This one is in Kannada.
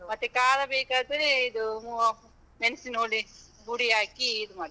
ಮತ್ತೆ ಖಾರ ಬೇಕಾದ್ರೆ ಇದು ಮೂ ಮೆಣಸಿನ ಹುಡಿ, ಪುಡಿಹಾಕಿ ಇದ್ ಮಾಡ್ತೀವಿ.